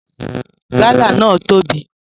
Gala náà tóbi.